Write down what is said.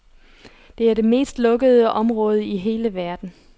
Det er det mest lukkede område i hele verden.